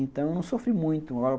Então eu não sofri muito.